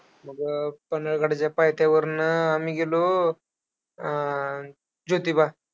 मग पन्हाळगडाच्या पायथ्यावरनं आम्ही गेलो ज्योतिबा.